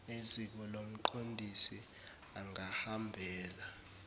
neziko lomqondisi angahambela